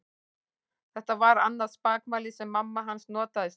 Þetta var annað spakmæli sem mamma hans notaði stundum.